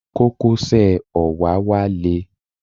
Kókósẹ̀ òwáwá le.